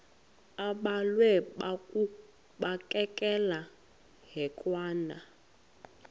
abhalwe bukekela hekwane